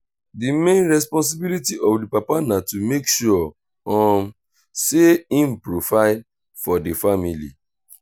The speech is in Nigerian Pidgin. di main responsibility of di papa na to make sure um sey im provide for di family